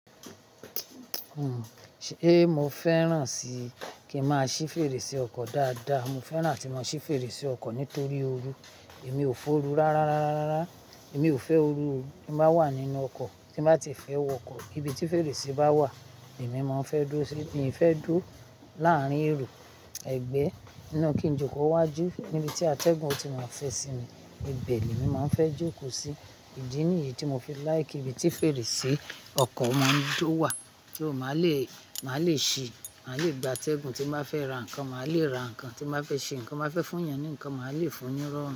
Sé mo fẹ́ràn sí kí n máa ṣí fèrèsé ọkọ̀ dáadáa, mo fẹ́ràn kí n mo ṣí fèrèsé ọkọ̀ nítorí ooru. Èmi ò fẹ́ ooru rárá, rárá, rárá. Èmi ò fẹ́ ooru, tí n bá wà nínú ọkọ̀, tí n bá ti fẹ́ wọ ọkọ̀, ibi tí fèrèsé bá wà, lèmi máa n fẹ́ dúró síi, miìfé dúró láárín èrò ẹ̀gbẹ́, ninu kì n jókòó wá jú, níbi tí atẹ́gùn ó ti máa fẹ́ sinmi, ibẹ̀ ni èmi máa n fẹ́ jókòó sí. Ìdí nìyí tí mo fi láìkí ibi tí fèrèsé ọkọ̀ máa ń jó wà, kí ó máa le, máa le ṣi máa le gba atẹ́gùn tí n bá fẹ́ ra nǹkan, màá le ra nǹkan tí n ba fẹ́ ṣe nǹkan ti n ba fẹ́ fún èèyàn, ni nkan màá le fún un ni irọrùn.